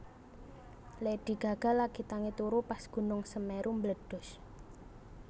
Lady Gaga lagi tangi turu pas gunung Semeru mbledhos